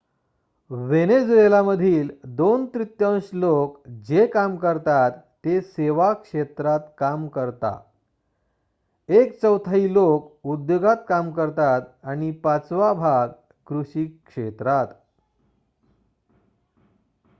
Venezuela मधील 2 तृतीयांश लोक जे काम करतात ते सेवा क्षेत्रात काम करता एक चौथाई लोक उद्योगात काम करतात आणि पाचवा भाग कृषी क्षेत्रात